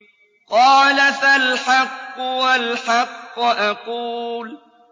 قَالَ فَالْحَقُّ وَالْحَقَّ أَقُولُ